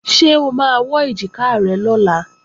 Ṣé o máa wọ́ èjìká rẹ lọ́la?